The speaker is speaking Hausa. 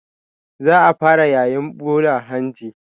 Za a fara yayin ɓula hanji.